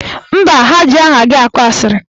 Mba, ha ji aha gị akọ asịrị.